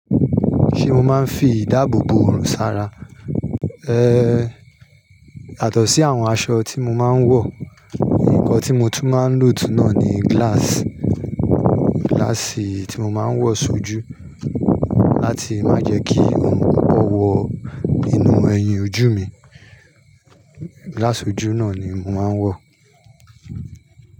Ṣé o máa ń fi ìdáàbò bò ọrùn ṣara? Ehn, yàtó sí àwọn aṣọ tí mo máa ń wọ̀, nǹkan tí mo tún máa ń lò tún náà ni glass, glass tí mo máa ń wọ̀ sojú láti má jẹ kí oorun kokan wọ inú ẹyin ojú mi. Glass ojú náà ni mo máa ń wọ̀